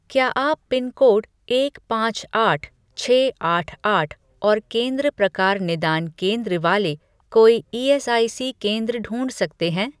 क्या आप पिनकोड एक पाँच आठ छः आठ आठ और केंद्र प्रकार निदान केंद्र वाले कोई ईएसआईसी केंद्र ढूँढ सकते हैं?